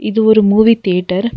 இது ஒரு movie theatre .